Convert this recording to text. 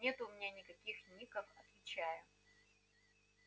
нету у меня никаких ников отвечаю